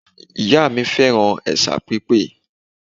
Ìyá mi fẹ́ràn ẹ̀sà pípé